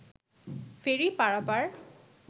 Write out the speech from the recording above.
ফেরি পারাপার